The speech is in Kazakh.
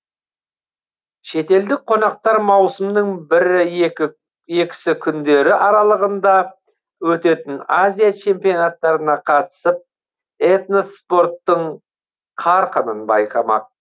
шетелдік қонақтар маусымның бірі екі екісі күндері аралығында өтетін азия чемпионаттарына қатысып этноспорттың қарқынын байқамақ